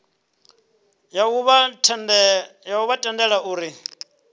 ya u vha tendela uri